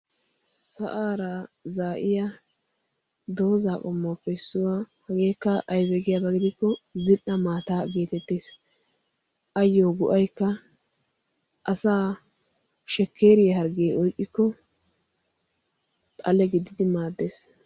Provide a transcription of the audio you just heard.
sa'aara zaa'iya doozaa qommaappe issuwaa hageekka aibeegiyaabaa gidikko zil"a maata geetettees. ayyo go"aykka asa shekkeeriyaa harggee oyqqikko xale giddidi maaddees.